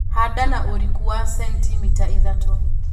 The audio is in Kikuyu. Handa na ũriku wa sentimita ithatũ